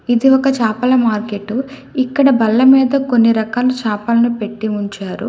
ఇది ఒక చాపల మార్కెట్టు ఇక్కడ బల్ల మీద కొన్ని రకాలు చేపలను పెట్టి ఉంచారు.